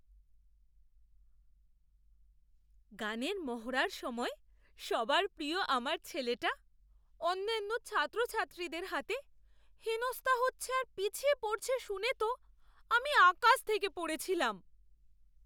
গানের মহড়ার সময় সবার প্রিয় আমার ছেলেটা অন্যান্য ছাত্রছাত্রীদের হাতে হেনস্থা হচ্ছে আর পিছিয়ে পড়ছে শুনে তো আমি আকাশ থেকে পড়েছিলাম!